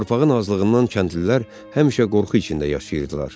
Torpağın azlığından kəndlilər həmişə qorxu içində yaşayırdılar.